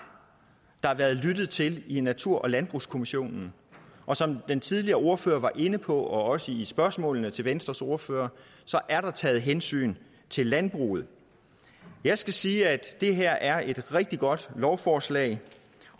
der været lyttet til i natur og landbrugskommissionen og som den tidligere ordfører var inde på også i spørgsmålene til venstres ordfører så er der taget hensyn til landbruget jeg skal sige at det her er et rigtig godt lovforslag